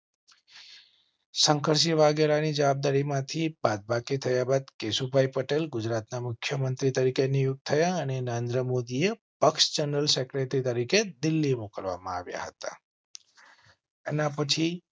શંકરસિંહ વાઘેલા ની જવાબદારી માંથી બાદબાકી થયા બાદ કેશુભાઈ પટેલ ગુજરાત ના મુખ્ય મંત્રી તરીકે નિયુક્ત થયા અને નરેન્દ્ર મોદીએ પક્ષ જનરલ સેક્રેટરી તરીકે દિલ્હી મોકલવા માં આવ્યા હતા. એના પછી